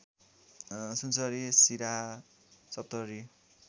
Sunsari Siraha Saptari